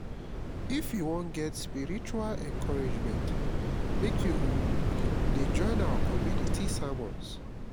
if you wan get spiritual encouragement make you um dey join our community sermons